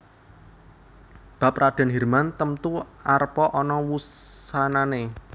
Bab Radèn Hirman temtu arepa ana wusanané